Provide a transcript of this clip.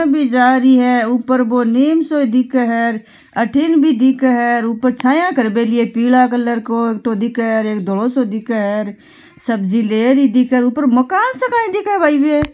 बि जा रही है ऊपर बो नीम सो दिख है र अठिन भी दिख है ऊपर छाया कर मेली है पिल कलर को दिख है --